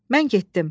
Mən getdim.